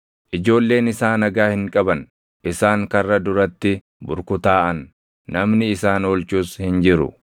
Ijoolleen isaa nagaa hin qaban; isaan karra duratti burkutaaʼan; namni isaan oolchus hin jiru.